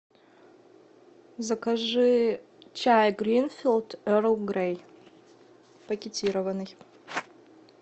закажи чай гринфилд эрл грей пакетированный